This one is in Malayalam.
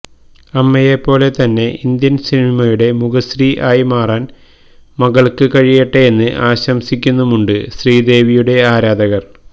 അമ്മയെ പോലെ തന്നെ ഇന്ത്യന് സിനിമയുടെ മുഖശ്രീ ആയി മാറാന് മകള്ക്ക് കഴിയട്ടെ എന്ന് ആശംസിക്കുന്നുമുണ്ട് ശ്രീദേവിയുടെ ആരാധകര്